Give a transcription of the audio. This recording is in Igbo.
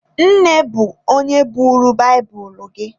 Nne bụ onye buuru baịbụlụ gị.